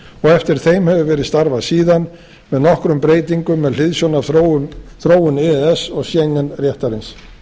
eftir þeim hefur verið starfað síðan með nokkrum breytingum með hliðsjón af þróun e e s og schengen réttarins